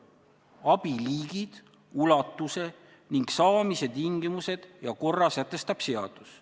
Abi liigid, ulatuse ning saamise tingimused ja korra sätestab seadus.